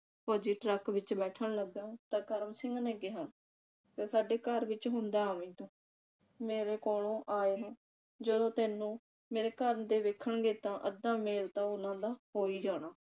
ਫੌਜੀ ਟਰੱਕ ਵਿਚ ਬੈਠਣ ਲੱਗਾ ਤਾਂ ਕਰਮ ਸਿੰਘ ਨੇ ਕਿਹਾ ਤੇ ਸਾਡੇ ਘਰ ਵਿਚ ਹੁੰਦਾ ਆਵੀ ਤੂੰ ਮੇਰੇ ਕੋਲੋ ਆਏ ਨੂੰ ਜਦੋਂ ਤੈਨੂੰ ਮੇਰੇ ਘਰ ਦੇ ਵੇਖਣ ਗੇ ਤਾਂ ਅੱਧਾ ਮੇਲ ਤਾਂ ਉਨ੍ਹਾਂ ਦਾ ਹੋ ਈ ਜਾਣਾ।